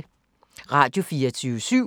Radio24syv